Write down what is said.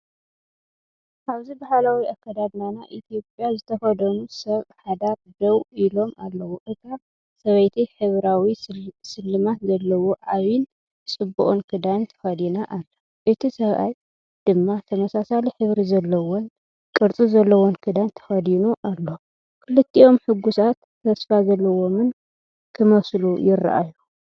ኣብዚ ባህላዊ ኣከዳድና ኢትዮጵያ ዝተኸድኑ ሰብ ሓዳር ደው ኢሎም ኣለዉ። እታ ሰበይቲ ሕብራዊ ስልማት ዘለዎ ዓቢን ጽቡቕን ክዳን ተኸዲና ኣላ፣ እቲ ሰብኣይ ድማ ተመሳሳሊ ሕብሪ ዘለዎን ቅርጺ ዘለዎን ክዳን ተኸዲኑ ኣሎ። ክልቲኦም ሕጉሳትን ተስፋ ዘለዎምን ክመስሉ ይረኣዩ።